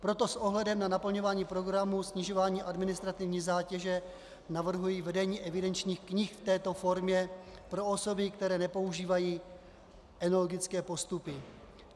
Proto s ohledem na naplňování programu snižování administrativní zátěže navrhuji vedení evidenčních knih v této formě pro osoby, které nepoužívají enologické postupy.